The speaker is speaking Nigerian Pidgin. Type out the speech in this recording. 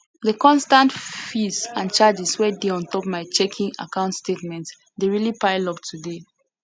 de constant fees and charges wey dey on top my checking account statement dey really pile up today